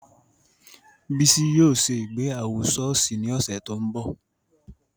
Bisi yóò se ìgbéyàwó ṣọọṣi ni ọsẹ to n bọ.